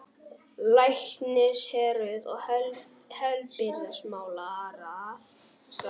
LÆKNISHÉRUÐ OG HEILBRIGÐISMÁLARÁÐ